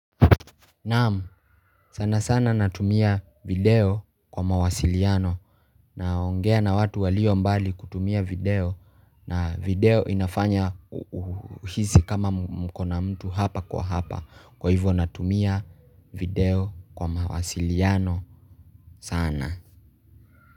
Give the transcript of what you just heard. Naam sana sana natumia video kwa mawasiliano na ongea na watu walio mbali kutumia video na video inafanya uhisi kama mkona mtu hapa kwa hapa kwa hivyo natumia video kwa mawasiliano sana.